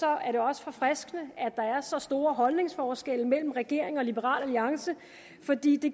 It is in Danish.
er det også forfriskende at der er så store holdningsforskelle mellem regeringen og liberal alliance fordi det